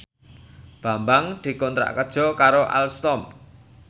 Bambang dikontrak kerja karo Alstom